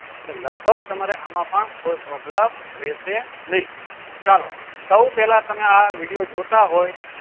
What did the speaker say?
લગભગ તમારે આમાં પણ કોઈ problem રેહશે નહી ચાલો સવ પેહલા તમે આ video જોતા હોય